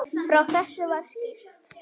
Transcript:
Frá þessu var skýrt.